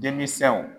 Denmisɛnw